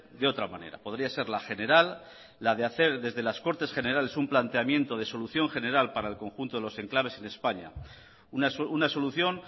de otra manera podría ser la general la de hacer desde las cortes generales un planteamiento de solución general para el conjunto de los enclaves en españa una solución